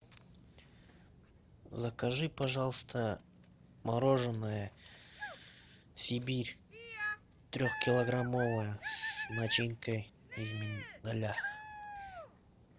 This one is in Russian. закажи пожалуйста мороженое сибирь трехкилограммовое с начинкой из миндаля